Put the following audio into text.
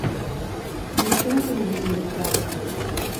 включи на телевизоре пранк